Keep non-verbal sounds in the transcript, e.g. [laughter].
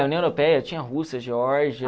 União Europeia tinha Rússia [unintelligible]